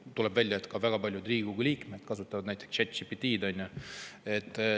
Tuleb välja, et ka väga paljud Riigikogu liikmed kasutavad näiteks ChatGPT‑d.